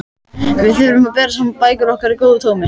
Við þyrftum að bera saman bækur okkar í góðu tómi.